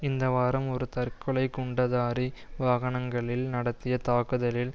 இந்த வாரம் ஒரு தற்கொலை குண்டதாரி வாகனங்களில் நடத்திய தாக்குதலில்